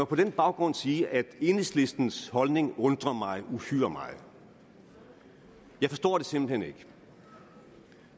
på den baggrund sige at enhedslistens holdning undrer mig uhyre meget jeg forstår det simpelt hen ikke